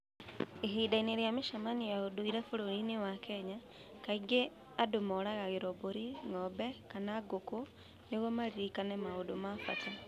Ihinda-inĩ rĩa mĩcemanio ya ũndũire bũrũri-inĩ wa Kenya, kaingĩ andũ moragĩrũo mbũri, ng'ombe, kana ngũkũ nĩguo maririkane maũndũ ma bata.